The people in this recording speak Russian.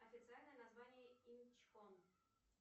официальное название инчхон